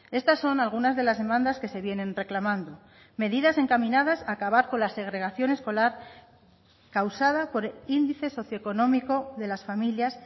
estas son algunas de las demandas que se vienen reclamando medidas encaminadas a acabar con la segregación escolar causada por el índice socioeconómico de las familias